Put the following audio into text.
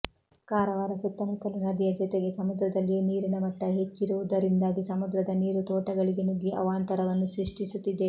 ಕಾರವಾರ ಸುತ್ತಮುತ್ತಲೂ ನದಿಯ ಜೊತೆಗೆ ಸಮುದ್ರದಲ್ಲಿಯೂ ನೀರಿನ ಮಟ್ಟ ಹೆಚ್ಚಿರುವುದರಿಂದಾಗಿ ಸಮುದ್ರದ ನೀರು ತೋಟಗಳಿಗೆ ನುಗ್ಗಿ ಅವಾಂತರವನ್ನು ಸೃಷ್ಟಿಸುತ್ತಿದೆ